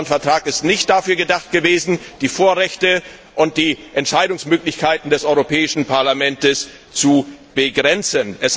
Und der Vertrag von Lissabon ist nicht dazu gedacht gewesen, die Vorrechte und die Entscheidungsmöglichkeiten des Europäischen Parlaments zu begrenzen.